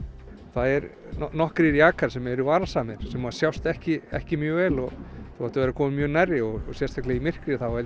það er nokkrir jakar sem eru varasamir sem sjást ekki ekki mjög vel og þú þarft að vera kominn mjög nærri og sérstaklega í myrkri þá held